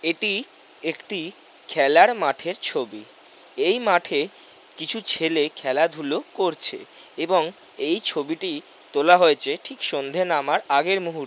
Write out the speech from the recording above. এটি একটি খেলার মাঠের ছবি। এই মাঠে কিছু ছেলে খেলাধুলো করছে এবং এই ছবিটি তোলা হয়েছে ঠিক সন্ধ্যে নামার আগের মুহূর --